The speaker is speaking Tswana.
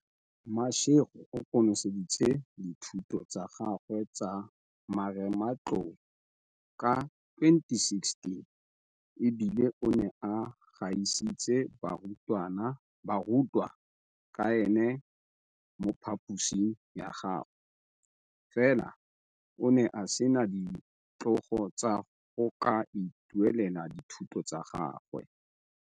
Mashego o konoseditse dithuto tsa gagwe tsa marematlou ka 2016 e bile o ne a gaisitse barutwa ka ene mo phaposing ya gagwe, fela o ne a sena ditlogo tsa go ka ituelela dithuto tsa gagwe.